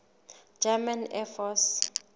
german air force